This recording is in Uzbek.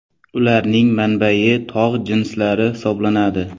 Ularning manbai tog‘ jinslari hisoblanadi.